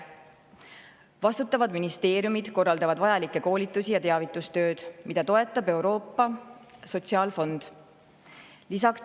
Vastutavad ministeeriumid korraldavad vajalikke koolitusi ja teavitustööd, mida toetab Euroopa Sotsiaalfond.